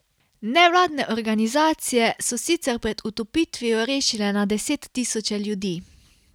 Nevladne organizacije so sicer pred utopitvijo rešile na deset tisoče ljudi.